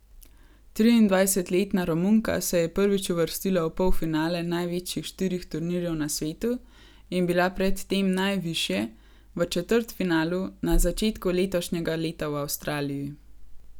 Triindvajsetletna Romunka se je prvič uvrstila v polfinale največjih štirih turnirjev na svetu in bila pred tem najvišje, v četrtfinalu, na začetku letošnjega leta v Avstraliji.